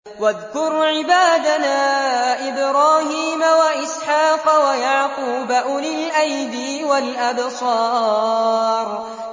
وَاذْكُرْ عِبَادَنَا إِبْرَاهِيمَ وَإِسْحَاقَ وَيَعْقُوبَ أُولِي الْأَيْدِي وَالْأَبْصَارِ